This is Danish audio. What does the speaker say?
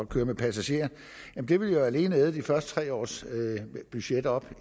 køre med passagerer vil det alene æde de første tre års budget op